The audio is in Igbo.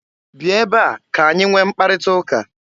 Bia ebe a ka-anyị nwee mkparịta ụka!